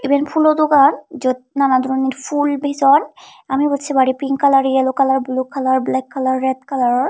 eyen phulo dogan jiyot nanadoronor phul bijon ami ebot se pari pink kalar yellow kalar colour bulu kalar black kalar red kalaror